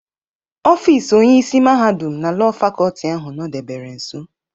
Ọfis Onyeisi Mahadum na Lọọ Fakọlti ahụ nọdebere nso.